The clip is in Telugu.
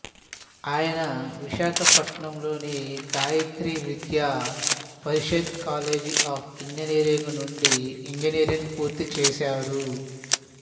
ఆయన విశాఖపట్నం లోని Gayatri Vidya Parishad college of engineering నుండి ఇంజనీరింగ్ పూర్తి చేశాడు